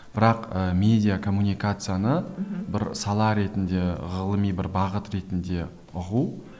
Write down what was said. бірақ ы медиакоммуникацияны мхм бір сала ретінде ғылыми бір бағыт ретінде ұғу